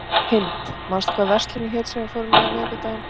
Hind, manstu hvað verslunin hét sem við fórum í á miðvikudaginn?